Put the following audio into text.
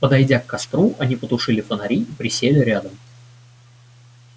подойдя к костру они потушили фонари и присели рядом